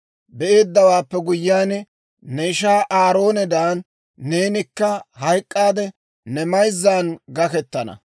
Be'eeddawaappe guyyiyaan, ne ishaa Aaroonedan neenikka hayk'k'aade, ne mayzzan gakettana.